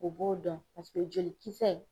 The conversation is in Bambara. O b'o dɔn paseke jolikisɛ